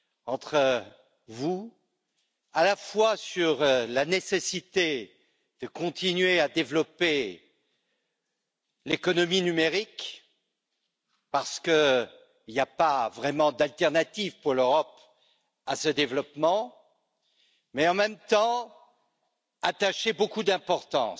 entre vous, à la fois sur la nécessité de continuer à développer l'économie numérique, parce qu'il n'y a pas vraiment d'alternative pour l'Europe à ce développement, et sur la nécessité d'accorder beaucoup d'importance